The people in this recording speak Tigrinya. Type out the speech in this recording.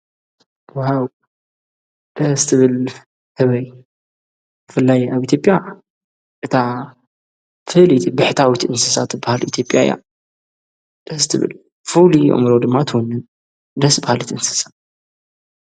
ዋውው ደስ ትብል ህበይ ብፍላይ ኣብ ኢትዮጵያ እታ ፍልይቲ ብሕታዊት እንስሳት ትብሃል ኢትዮጵያ እያ ደስትብል ፍሉይ ኣእምሮ ድማ ትወንን ደስ በሃሊት እንስሰ።